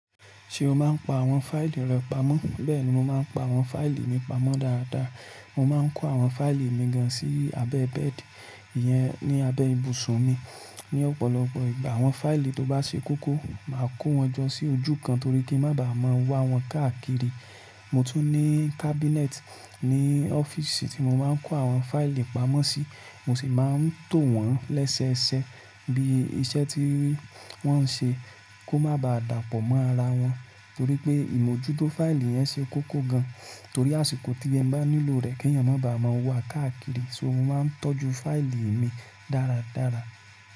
Ṣé o máa ń pa àwọn fáìlì rẹ pamọ́? Bẹ́ẹ̀ni, mo máa ń pa àwọn fáìlì mi pamọ́ dáradára. Mo máa ń kó àwọn fáìlì mi gan sí abẹ́ bẹ́ẹ̀dì iyẹn ní abẹ́ ibùsùn mi. Ni ọ̀pọ̀lọpọ̀ ìgbà àwọn fáìlì tó bá ṣe kókó, màá kó wọn jọ sí ojú kan torí kí ń má ba à máa wọ́n káàkiri. Mo tún ní kábínẹ́tì ní ọ́fíìsì tí mo máa ń kó àwọn fáìlì pamọ́ sí, mo sì máa ń tò wọ́n lẹ́sẹẹsẹ bí iṣẹ́ tí wọ́n ń ṣe kò má bá dàpọ̀ mọ́ ara wọn torí pé ìmójútó fáìlì yẹn ṣe kókó gan torí àsìkò tí ẹ bá nílò rẹ̀ kí èèyàn má bá à máa wa káàkiri. So mo máa ń tọ́jú fáìlì mi dáradára.